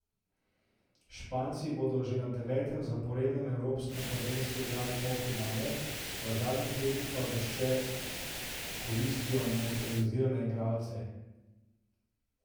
Španci bodo že na devetem zaporednem evropskem prvenstvu igrali polfinale, v zadnjih letih pa vešče koristijo naturalizirane igralce.